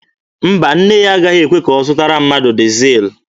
Mba, nne ya agaghị ekwe ya zụtara mmadụ dizel.